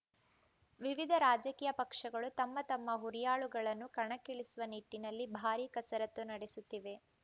ವಿವಿಧ ರಾಜಕೀಯ ಪಕ್ಷಗಳು ತಮ್ಮ ತಮ್ಮ ಹುರಿಯಾಳುಗಳನ್ನು ಕಣಕ್ಕಿಳಿಸುವ ನಿಟ್ಟಿನಲ್ಲಿ ಭಾರೀ ಕಸರತ್ತು ನಡೆಸುತ್ತಿವೆ